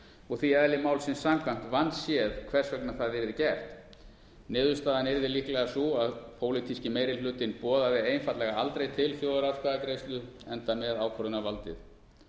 og því eðli málsins samkvæmt vandséð hvers vegna það yrði gert niðurstaðan yrði líklega sú að pólitíski meirihlutinn boðaði einfaldlega aldrei til þjóðaratkvæðagreiðslu enda með ákvörðunarvaldið